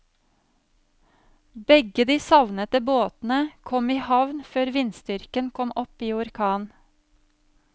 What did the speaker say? Begge de savnede båtene kom i havn før vindstyrken kom opp i orkan.